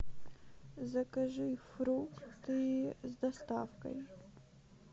закажи фрукты с доставкой